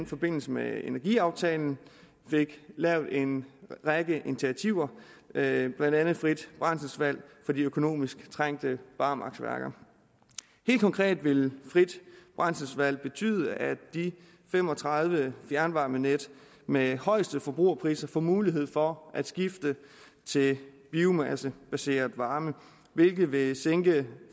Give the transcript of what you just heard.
forbindelse med energiaftalen fik lavet en række initiativer med blandt andet frit brændselsvalg for de økonomisk trængte barmarksværker helt konkret vil frit brændselsvalg betyde at de fem og tredive fjernvarmenet med højeste forbrugerpriser får mulighed for at skifte til biomassebaseret varme hvilket vil sænke